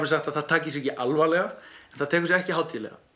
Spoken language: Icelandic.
sagt að það taki sig ekki alvarlega en það tekur sig ekki hátíðlega